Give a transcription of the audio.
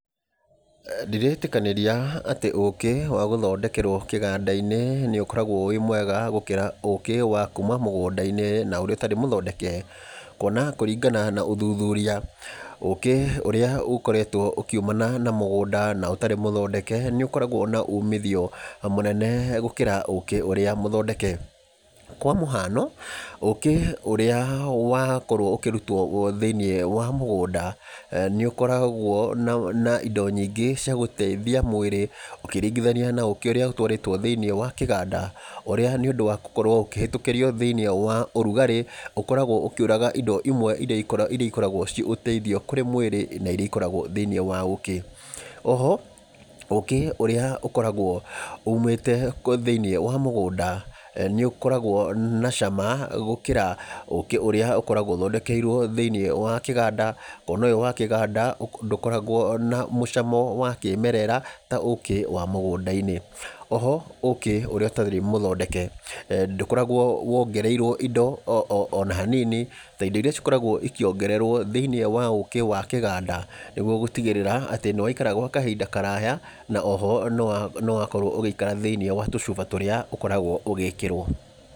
Ndiretĩkanĩria atĩ ũkĩ wa gũthondekerwo kĩganda-inĩ nĩ ũkoragwo wĩmwega gũkĩra ũkĩ wakuuma mũgũnda-inĩ na ũrĩa ũtarĩ mũthondeke, kuona kũringana na ũthuthuria, ũkĩ ũrĩa ũkoretwo ũkiumana na mũgũnda na ũtarĩ mũthondeke, nĩ ũkoragwo na umithio mũnene, gũkĩra ũkĩ ũrĩa mũthondeke, kwa mũhano ũkĩ ũrĩa wakorwo ũkĩrutwo thĩinĩ wa mũgũnda, nĩ ũkoragwo na na indo indo nyingĩ cia gũteithia mwĩrĩ ũkĩringithania na ũkĩ ũrĩa ũtwarĩtwo thĩinĩ wa kĩganda, ũrĩa nĩ ũndũ wa gũkorwo ũkĩhetũkĩrio thĩinĩ wa ũrugarĩ, ũkoragwo ũkĩũraga indo imwe iria iko iria ikoragwo ciĩ ũteithio kũrĩ mwĩrĩ, na iria ikoragwo thĩinĩ wa ũkĩ, oho ũkĩ ũrĩa ũkoragwo umĩte thĩinĩ wa mũgũnda, nĩ ũkoragwo na cama gũkĩra ũkĩ ũrĩa ũkoragwo ũthondekerwo thĩinĩ wa kĩganda, kuona ũyũ wa kĩganda ũ ndũkoragwo na mũcamo wa kĩmerera, ta ũkĩ wa mũgũnda-inĩ, oho ũkĩ ũrĩa ũtarĩ mũthondeke eeh ndokoragwo wongereirwo indo oo ona hanini, ta indo iria ikoragwo ikiongererwo thĩinĩ wa ũkĩ wa kĩganda nĩguo gũtigĩrĩra atĩ nĩ waikara gwa kahinda karaya, na oho nĩ wa nĩ wakorwo ũgĩikara thĩinĩ wa tũcuba tũrĩa ũkoragwo ũgĩkĩrwo.